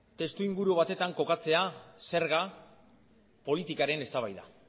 testuinguru batetan kokatzea zerga politikaren eztabaida